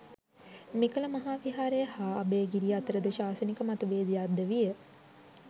මෙකල මහා විහාරය හා අභය ගිරිය අතර ද ශාසනික මත බේදයක් ද විය.